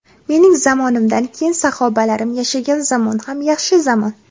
Mening zamonimdan keyin sahobalarim yashagan zamon ham yaxshi zamon.